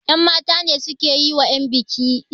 yanmata ne suke yi wa yanbiki iso